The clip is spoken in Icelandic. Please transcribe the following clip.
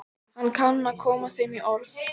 Hann kann að koma þeim í orð.